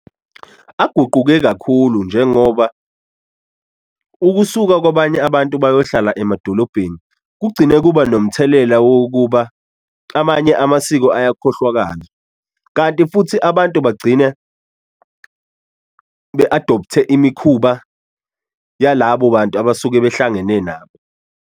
Aguquke kakhulu njengoba ukusuka kwabanye abantu bayohlala emadolobheni kugcine kuba nomthelela wokuba amanye amasiko ayakhohlwakala kanti futhi abantu bagcine be-adopthe imikhuba yalabo bantu abasuke behlangene nabo.